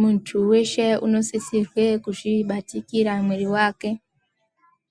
Muntu weshe unosisirwe kuzvibatikira muiri wake